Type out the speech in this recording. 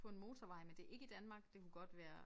På en motorvej men det ikke i Danmark det kunne godt være